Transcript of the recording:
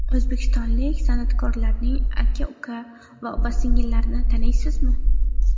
O‘zbekistonlik san’atkorlarning aka-uka va opa-singillarini taniysizmi?.